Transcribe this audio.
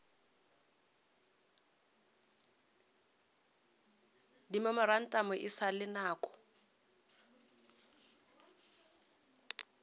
dimemorantamo e sa le nako